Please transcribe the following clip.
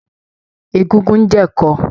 Egúngún ń jẹ ẹ̀ko